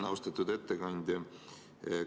Austatud ettekandja!